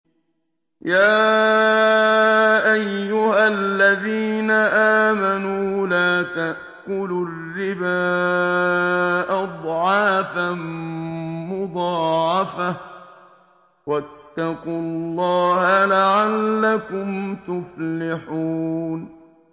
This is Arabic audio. يَا أَيُّهَا الَّذِينَ آمَنُوا لَا تَأْكُلُوا الرِّبَا أَضْعَافًا مُّضَاعَفَةً ۖ وَاتَّقُوا اللَّهَ لَعَلَّكُمْ تُفْلِحُونَ